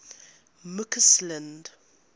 mccausland